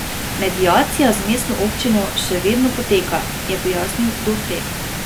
Mediacija z mestno občino še vedno poteka, je pojasnil Dovrtel.